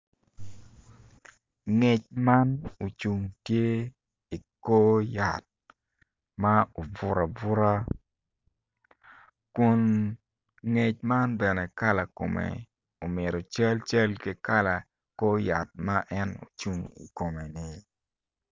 Ngec man ocung tye tye i kor yat ma obuto abuta kun ngec man bene kala kome omito calcal ki kala kor yat ma en ocung i kome-ni.